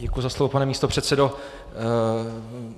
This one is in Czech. Děkuji za slovo, pane místopředsedo.